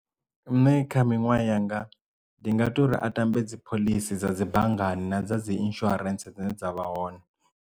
Nṋe kha minwaha yanga ndi nga to uri a tambe dzi phoḽisi dza dzi banngani na dza dzi insurance dzine dza vha hone.